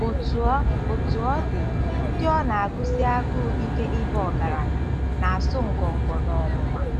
Otú ọ Otú ọ dị, ndị ọ na-agụsi agụụ ike ịba ọgaranya, na-asụ ngọngọ n'ọnwụnwa. ”